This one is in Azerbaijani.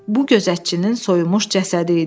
Bu gözətçinin soyunmuş cəsədi idi.